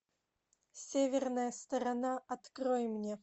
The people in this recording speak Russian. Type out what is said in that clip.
северная сторона открой мне